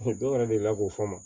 Dɔw yɛrɛ delila k'o fɔ n ma